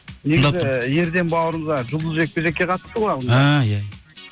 ерден бауырымыз жұлдызды жекпе жекке қатысты ғой иә иә